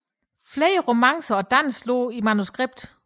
Flere romancer og danse lå i manuskript